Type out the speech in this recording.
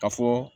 Ka fɔ